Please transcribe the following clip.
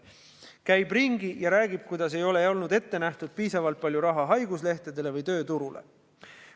Käib ringi ja räägib, kuidas ei olnud ette nähtud piisavalt palju raha haiguslehtedele või tööturule.